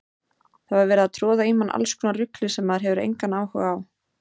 Það var verið að troða í mann allskonar rugli sem maður hafði engan áhuga á.